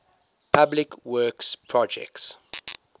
public works projects